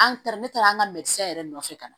An taara ne taara an ka mɛtira yɛrɛ nɔfɛ ka na